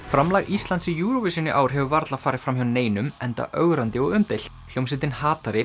framlag Íslands í Eurovision í ár hefur varla farið fram hjá neinum enda ögrandi og umdeilt hljómsveitin